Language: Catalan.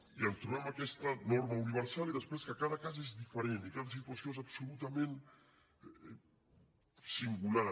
i ens trobem aquesta norma universal i després que cada cas és diferent i cada situació és absolutament singular